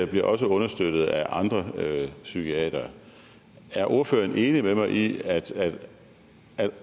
bliver også understøttet af andre psykiatere er ordføreren enig med mig i at